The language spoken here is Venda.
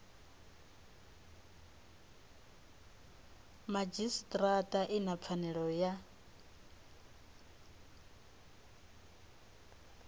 madzhisitirata i na pfanelo ya